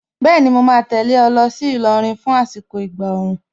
Bẹ́ẹ̀ni, mo ma tẹ̀lé ẹ lọ sí Ìlọrin fún àsìkò ìgbà òòrùn.